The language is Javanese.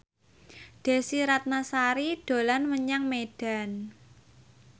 Desy Ratnasari dolan menyang Medan